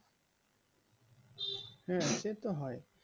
হুম সেটা হয়